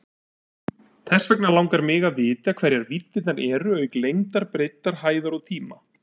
Þess vegna langar mig að vita hverjar víddirnar eru auk lengdar, breiddar, hæðar og tíma?